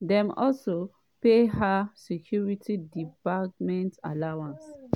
dem also pay her security debarment allowance."